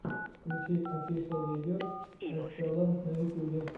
включи офишиал видео эсэлэр на ютьюбе